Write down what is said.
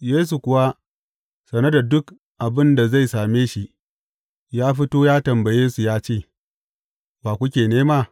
Yesu kuwa, sane da duk abin da zai same shi, ya fito ya tambaye, su ya ce, Wa kuke nema?